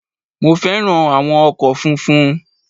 Mo fẹ́ràn áwọn ọkò funfun